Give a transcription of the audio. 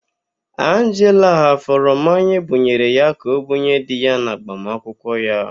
Anjela ghafuru mmanya ebunyere ya ka ọbunye di ya n'agbamụnkwụ ya.